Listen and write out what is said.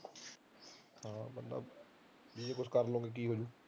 ਜੇ ਕੁਝ ਕਰ ਲੂੰਗੀ ਤਾਂ ਕੀ ਹੋਜੂ